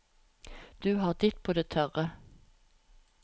Du har ditt på det tørre.